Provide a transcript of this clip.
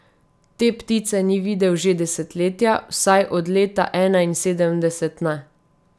Te ptice ni videl že desetletja, vsaj od leta enainsedemdeset ne.